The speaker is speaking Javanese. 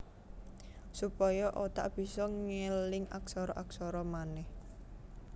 Supaya otak bisa ngeling aksara aksara manèh